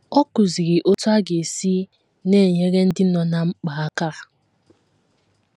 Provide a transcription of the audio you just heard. Ọ kụziri otú a ga - esi na - enyere ndị nọ ná mkpa aka.